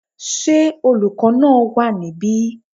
Ṣé olùkọ́ náà wà níbí?